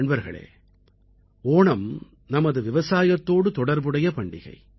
நண்பர்களே ஓணம் நமது விவசாயத்தோடு தொடர்புடைய பண்டிகை